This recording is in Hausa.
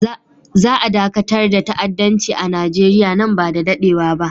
Za a dakatar da ta'addanci a Nigeriya nan ba da daɗewa ba.